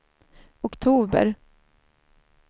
oktober